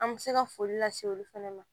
An bɛ se ka foli lase olu fɛnɛ ma